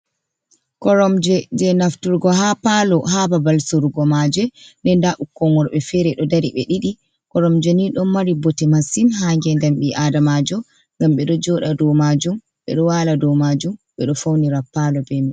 Koromje je nafturgo ha palo ha babal sorugo maje, ɗe nda ɓukkon worbe fere ɗo dari ɓe ɗiɗi, koromje ni ɗon mari bote masin ha ngedam bii adamajo ngam ɓeɗo joɗa dow majum ɓe ɗo wala dow majum, ɓe ɗo faunira palo be mai.